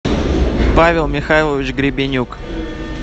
павел михайлович гребенюк